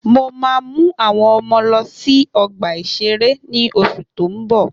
Mo ma mú àwọn ọmọ lọ sí ọgbà-ìṣeré ní oṣù tó ń bọ̀